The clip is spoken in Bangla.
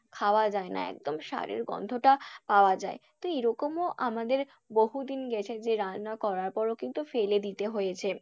খাওয়া যায়না একদম সারের গন্ধটা পাওয়া যায়, তো এরকমও আমাদের বহুদিন গেছে যে রান্না করার পরেও কিন্তু ফেলে দিতে হয়েছে।